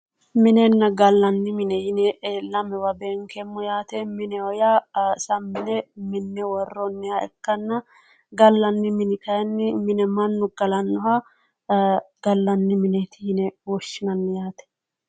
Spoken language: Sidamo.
Minenna gallanni mine:- minenna gallanni mine yine lamewa beenkeemmo yaate mineho yaa sammi yine minne woroonniha ikanna galanni mini kayinni mine mannu galannoha gallanni mineeri yine woshshinanni yaate